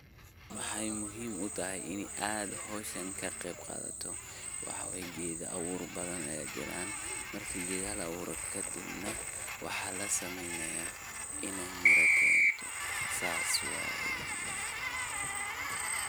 waxay muhiim utahay ini aad hawshan ka qayb qaadato, waxaa way geedo abuur badan ayaa jiraan ,marki geedaha la abuuro kadib neh, waxaa lasameynaya in ay miro keento, saas waaye